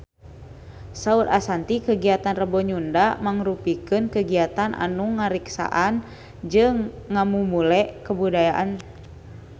Saur Ashanti kagiatan Rebo Nyunda mangrupikeun kagiatan anu ngariksa jeung ngamumule budaya Sunda